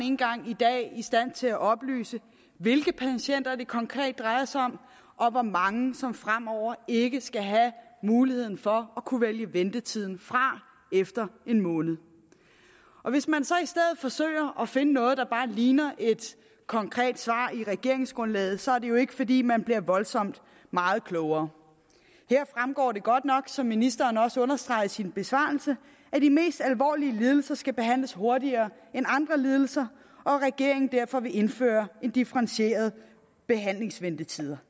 engang i dag i stand til at oplyse hvilke patienter det konkret drejer sig om og hvor mange som fremover ikke skal have muligheden for at kunne vælge ventetiden fra efter en måned hvis man så i stedet forsøger at finde noget der bare ligner et konkret svar i regeringsgrundlaget så er det jo ikke fordi man bliver voldsomt meget klogere her fremgår det godt nok som ministeren også understregede i sin besvarelse at de mest alvorlige lidelser skal behandles hurtigere end andre lidelser og at regeringen derfor vil indføre differentierede behandlingsventetider